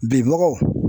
Bibagaw